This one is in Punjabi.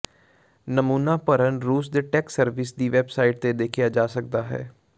ਨਮੂਨਾ ਭਰਨ ਰੂਸ ਦੇ ਟੈਕਸ ਸਰਵਿਸ ਦੀ ਵੈਬਸਾਈਟ ਤੇ ਦੇਖਿਆ ਜਾ ਸਕਦਾ ਹੈ